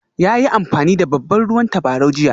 Ya yi amfani da babban ruwan tabarau jiya?